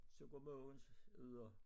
Så går Mogens ud og